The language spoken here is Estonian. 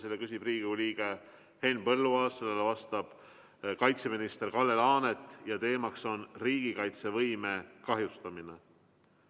Selle küsib Riigikogu liige Henn Põlluaas, sellele vastab kaitseminister Kalle Laanet ja teema on riigikaitsevõime kahjustamine.